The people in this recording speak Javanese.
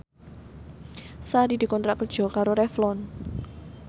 Sari dikontrak kerja karo Revlon